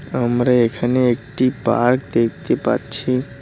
আমরা এখানে একটি পার্ক দেখতে পাচ্ছি।